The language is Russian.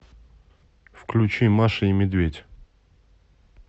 включи маша и медведь